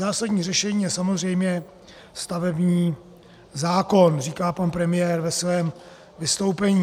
Zásadní řešení je samozřejmě stavební zákon," říká pan premiér ve svém vystoupení.